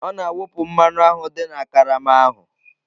Ọ na-awụpụ mmanụ ahụ dị na karama ahụ.